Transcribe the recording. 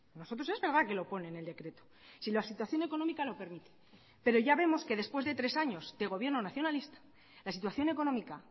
nosotros es verdad que lo pone en el decreto si la situación económica lo permite pero ya vemos que después de tres años de gobierno nacionalista la situación económica